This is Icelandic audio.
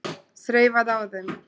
Þreifaði á þeim.